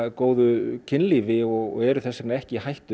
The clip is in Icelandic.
góðu kynlífi og eru þess vegna ekki í hættu